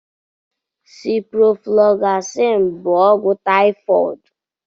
Ciproflọgzasin bụ ogwụ taịfọd.